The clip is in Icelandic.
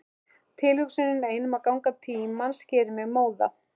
Tilhugsunin ein um gang tímans gerir mig móða.